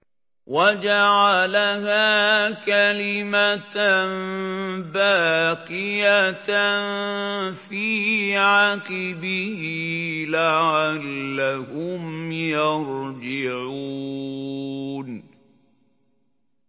وَجَعَلَهَا كَلِمَةً بَاقِيَةً فِي عَقِبِهِ لَعَلَّهُمْ يَرْجِعُونَ